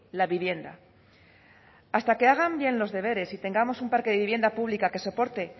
la vivienda hasta que hagan bien los deberes y tengamos un parque de vivienda pública que soporte